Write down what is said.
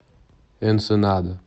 энсенада